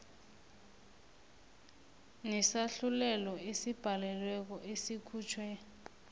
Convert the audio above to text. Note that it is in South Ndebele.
nesahlulelo esibhalelweko esikhutjhwe